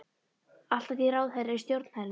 Allt að því ráðherra í stjórn hennar!